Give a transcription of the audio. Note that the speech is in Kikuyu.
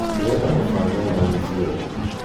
Ndĩrenda kũfanga thani ciothe